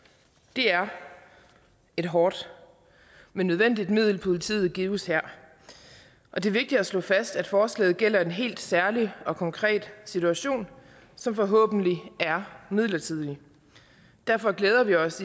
det er et hårdt men nødvendigt middel som politiet gives her og det er vigtigt at slå fast at forslaget gælder en helt særlig og konkret situation som forhåbentlig er midlertidig derfor glæder vi os